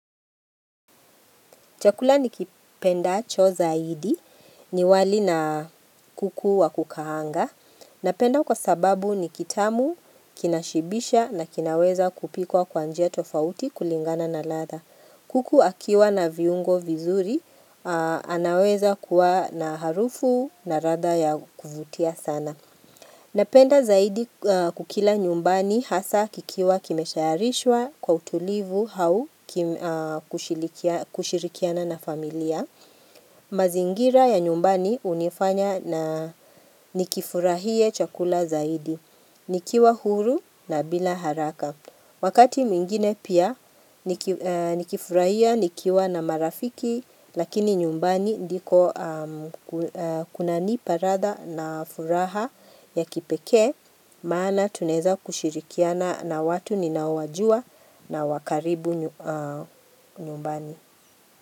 Chakula nikipendacho zaidi ni wali na kuku wa kukaanga. Napenda kwa sababu ni kitamu, kinashibisha na kinaweza kupikwa kwa njia tofauti kulingana na ladha. Kuku akiwa na viungo vizuri anaweza kuwa na harufu na ladha ya kuvutia sana. Napenda zaidi kukila nyumbani hasa kikiwa kimetayarishwa kwa utulivu au kushirikiana na familia. Mazingira ya nyumbani hunifanya na nikifurahie chakula zaidi. Nikiwa huru na bila haraka. Wakati mingine pia nikifurahia nikiwa na marafiki lakini nyumbani ndiko kuna nipa ladha na furaha ya kipekee maana tunaeza kushirikiana na watu ninaowajua na wa karibu nyumbani.